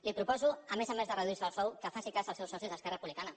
li proposo a més a més de reduirse el sou que faci cas als seus socis d’esquerra republicana